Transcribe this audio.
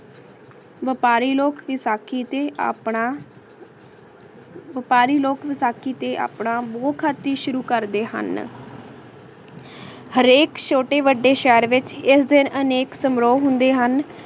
ਵਪਾਰੀ ਲੋਕ ਵਿਸਾਖੀ ਤੇ ਆਪਣਾ ਵਪਾਰੀ ਲੋਕ ਵਿਸਾਖੀ ਤੇ ਆਪਣਾ ਸ਼ੁਰੂ ਕਰਦੇ ਹਨ ਹਰ ਏਕ ਛੋਟੇ ਵਾਦੇ ਸ਼ੇਹਰ ਵਿਚ ਏਸ ਦਿਨ ਅਨੇਕ ਸਮੂਹ ਹੁੰਦੇ ਹਨ